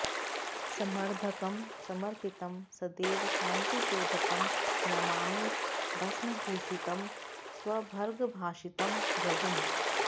समर्धकं समर्पितं सदैव शान्तिशोधकं नमामि भस्मभूषितं स्वभर्गभासितं भृगुम्